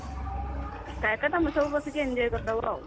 ଏକା ଏକା ତମେ ସବୁ ବସିକି enjoy କରିଦବ ଆଉ।